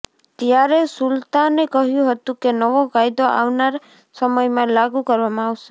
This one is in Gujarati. ત્યારે સુલતાને કહ્યું હતું કે નવો કાયદો આવનારા સમયમાં લાગુ કરવામાં આવશે